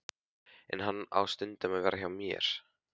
En hann á stundum að vera hjá mér.